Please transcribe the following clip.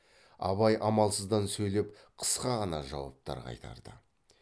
абай амалсыздан сөйлеп қысқа ғана жауаптар қайтарды